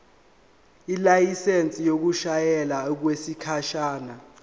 ilayisensi yokushayela okwesikhashana